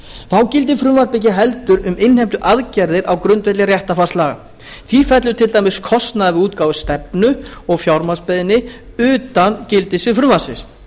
þá gildir frumvarpið ekki heldur um innheimtuaðgerðir á grundvelli réttarfarslaga því fellur til dæmis kostnaður við útgáfu stefnu og fjárnámsbeiðni utan gildissviðs frumvarpsins